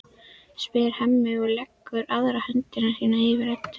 spyr Hemmi og leggur aðra hönd sína yfir Eddu.